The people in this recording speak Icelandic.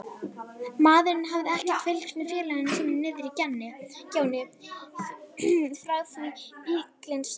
Maðurinn hafði ekkert fylgst með félaga sínum niðri í gjánni frá því bíllinn stansaði.